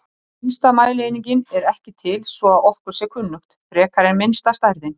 Upplýsingar á ensku frá Virginíu-háskóla um bakflæði hjá ungbörnum.